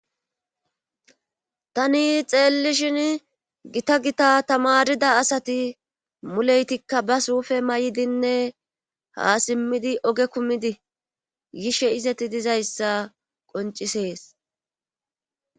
tani xeelli shin gita gita tamarida asati muleytikka ba suufe may7dinne haa simmidi oge kumidi yishe izeti dizayssa qoncisees